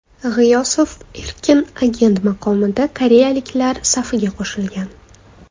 G‘iyosov erkin agent maqomida koreyaliklar safiga qo‘shilgan.